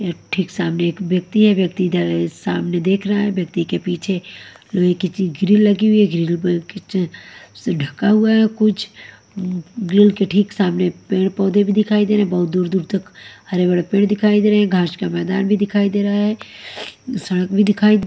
यहाँ ठीक सामने एक व्यक्ति है व्यक्ति इधर सामने देख रहा है व्यक्ति के पीछे लोहे ची की ग्रिल लगी हुई है ग्रिल पर ढका हुआ है कुछ ग्रिल के ठीक सामने पेड़-पौधे भी दिखाई दे रहे हैं बहुत दूर दूर तक हरे-भरे पेड़ दिखाई दे रहे हैं घास का मैदान भी दिखाई दे रहा है सड़क भी दिखाई--